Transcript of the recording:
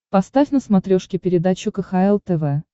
поставь на смотрешке передачу кхл тв